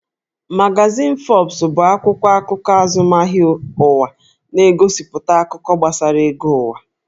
Magazin Forbes bụ akwụkwọ akụkọ azụmahịa ụwa, na-egosipụta akụkọ gbasara ego ụwa